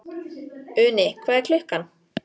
Uni, hvað er klukkan?